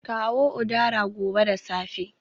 Kawo udara gobe da safe